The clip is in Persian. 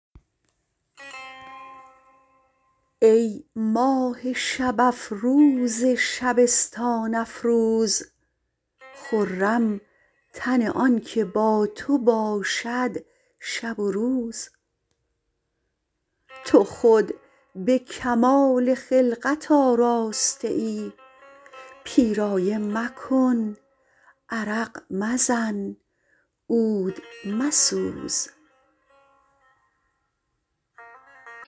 ای ماه شب افروز شبستان افروز خرم تن آنکه با تو باشد شب و روز تو خود به کمال خلقت آراسته ای پیرایه مکن عرق مزن عود مسوز